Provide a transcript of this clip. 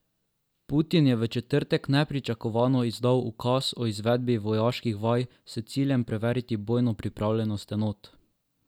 Putin je v četrtek nepričakovano izdal ukaz o izvedbi vojaških vaj s ciljem preveriti bojno pripravljenost enot.